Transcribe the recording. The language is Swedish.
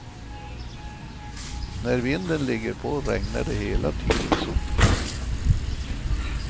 När vinden ligger på regnar det hela tiden sotflagor.